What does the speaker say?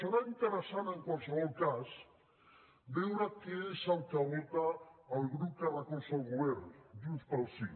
serà interessant en qualsevol cas veure què és el que vota el grup que recolza el govern junts pel sí